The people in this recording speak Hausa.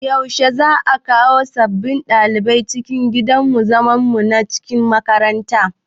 Yaushe za'a kawo sabbin ɗaliban cikin gidan zaman mu na cikin makaranta?